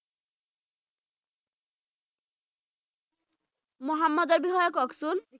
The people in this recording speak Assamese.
মহম্মদৰ বিষয়ে কওকচোন